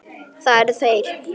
Það eru þeir.